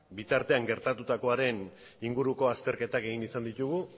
bitartean gertatutakoaren inguruko azterketak egin izan ditugu